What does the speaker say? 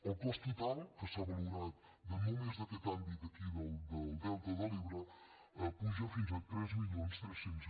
el cost total que s’ha valorat de només aquest àmbit d’aquí del delta de l’ebre puja fins a tres mil tres cents